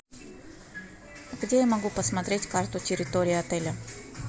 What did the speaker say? где я могу посмотреть карту территории отеля